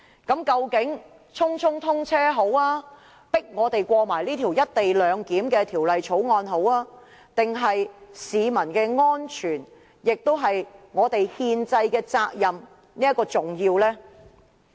究竟匆匆通車、強迫我們通過《條例草案》重要，還是市民的安全、議員履行其憲制責任較為重要？